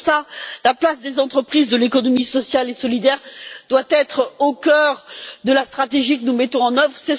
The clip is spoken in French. Pour cela, la place des entreprises de l'économie sociale et solidaire doit être au cœur de la stratégie que nous mettons en œuvre.